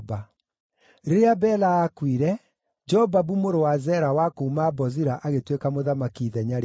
Rĩrĩa Bela aakuire, Jobabu mũrũ wa Zera wa kuuma Bozira agĩtuĩka mũthamaki ithenya rĩake.